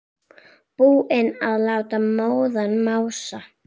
Búinn að láta móðan mása.